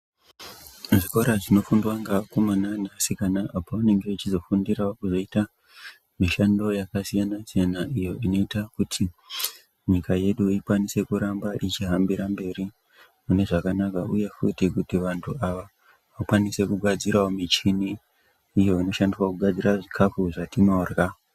Zvikora zvinofundwa ngeakomana neasikana apo vanange vechizofundirawo kuzoita mishando yakasiyana-siyana iyo inoita kuti nyika yedu ikwanise kuramba ichihambira mberi mune zvakanaka uye futi kuti vantu ava vakwanise kugadzirawo michini iyo inoshandiswa kugadzira zvikafu zvatinorya.